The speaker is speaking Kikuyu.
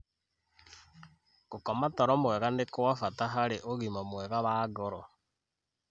Gũkoma toro mwega nĩ kwa bata harĩ ũgima mwega wa ngoro.